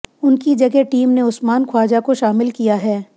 उनकी जगह टीम ने उस्मान ख्वाजा को शामिल किया हैं